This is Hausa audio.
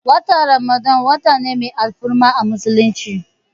Watan ramadan wata ne mai alfarma a musulunci